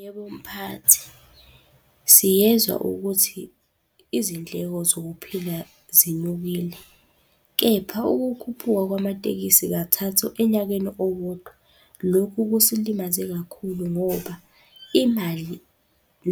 Yebo, mphathi. Siyezwa ukuthi izindleko zokuphila zinyukile, kepha ukukhuphuka kwamatekisi kathathu enyakeni owodwa, lokhu kusilimaze kakhulu ngoba imali